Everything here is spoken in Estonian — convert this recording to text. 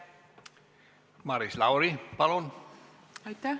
Maris Lauri, palun!